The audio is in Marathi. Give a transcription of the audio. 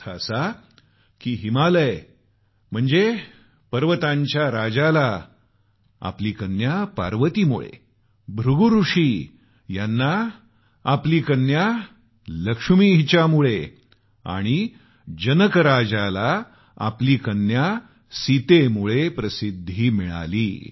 अर्थात हिमवंत म्हणजे पर्वताच्या राजाला आपली कन्या पार्वतीमुळे ऋषी भृगु यांना आपली कन्या लक्ष्मी हिच्यामुळे आणि राजा जनक यास आपली कन्या सीतेमुळे प्रसिद्धी मिळाली